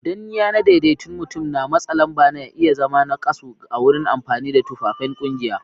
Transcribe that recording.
Danniya na daidaikun mutum da matsa lamba na iya zama nakasu a wurin amfani da tufafain kungiya